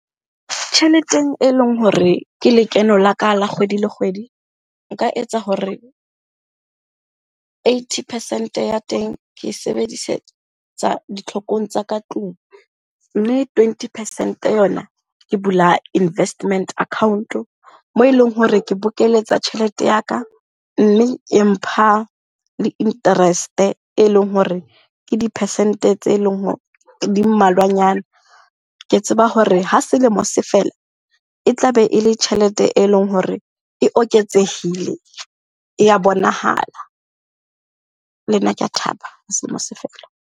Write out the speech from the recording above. Tjheleteng e leng hore ke lekeno la ka la kgwedi le kgwedi, nka etsa hore eighty percent ya teng ke e sebedisetsa ditlhokong tsa ka tlung. Mme twenty percent yona, ke bula investment account-o moo eleng hore ke bokeletsa tjhelete ya ka mme e mpha le interest-e eleng hore ke dipercent-e tse leng hore di mmalwanyana. Ke tseba hore ha selemo se fela, e tlabe e le tjhelete e leng hore e oketsehile, e ya bonahala. Le nna ke a thaba ha selemo se fela.